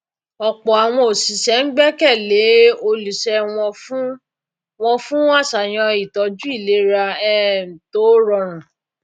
ọpọ àwọn oṣiṣẹ ń gbẹkẹ lé olúṣẹ wọn fún wọn fún àṣàyàn ìtọju ìlera um tó rọrùn